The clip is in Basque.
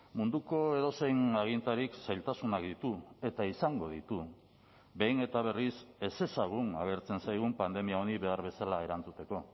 munduko edozein agintarik zailtasunak ditu eta izango ditu behin eta berriz ezezagun agertzen zaigun pandemia honi behar bezala erantzuteko